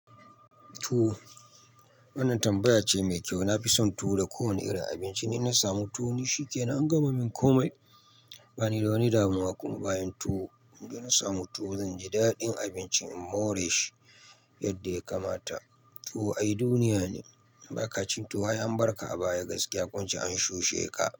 Tuwo. Wannan tambaya ce mai kyau. Na fi son tuwo da kowane irin abinci. Ni na samu tuwo, ni shike--. Na gama min komai. Ba ni da wani damuwa kuma bayan tuwo. In dai na samu tuwo, zan ji daɗin abinci. Moreshi yadda ya kamata. Tuwo ai duniya ne. In ba ka ci tuwo, ai an barka a baya gaskiya. Ko in ce an shushe ka.